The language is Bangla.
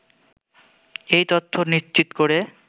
এই তথ্য নিশ্চিত করে